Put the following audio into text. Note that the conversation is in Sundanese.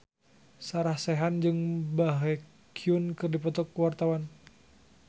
Sarah Sechan jeung Baekhyun keur dipoto ku wartawan